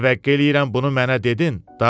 Təvəqqe eləyirəm bunu mənə dedin,